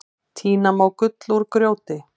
Tína má gull úr grjóti.